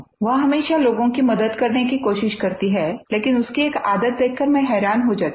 वो हमेशा लोगों की मदद करने की कोशिश करती है लेकिन उसकी एक आदत देखकर मैं हैरान हो जाती हूँ